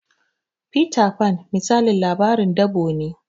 Fita Fan misalin labarin dabo ne